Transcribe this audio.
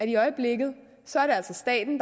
i øjeblikket altså er staten